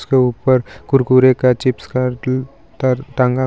इसके ऊपर कुरकुरे का चिप्स का टांगा --